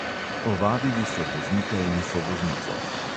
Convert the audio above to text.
Ovadili so voznika in sovoznico.